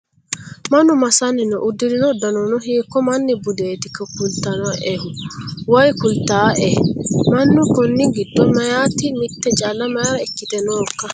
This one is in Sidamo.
Mannu massanni noo? Uddirino uddanono hiikko manni buditero kulatto'e woyi kulattae? Mannu konni giddo meyaati mitte calla mayiira ikkite nookka?